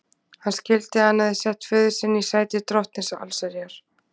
Hann skildi að hann hafði sett föður sinn í sæti drottins allsherjar.